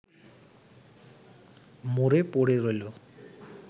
মরে পড়ে রইল